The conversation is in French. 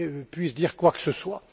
puissent dire quoi que ce soit.